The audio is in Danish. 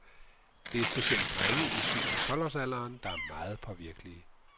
Det er specielt drenge i syv- til tolv-årsalderen, der er meget påvirkelige.